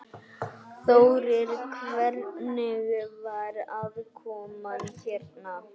Þórir: Hvernig var aðkoman hérna?